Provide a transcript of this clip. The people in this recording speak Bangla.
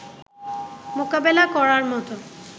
মোকাবেলা করার মতো